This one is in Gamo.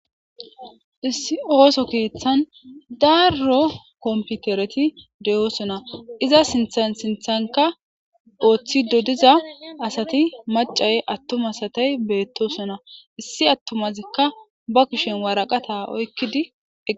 issi ooso keeththan daaruro komputereti de7osona iza sithasinthanka ooththido diza asati macay attumasatay beettosona issi attomazikka ba kushen waraqata oykkidi